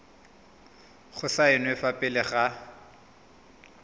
go saenwa fa pele ga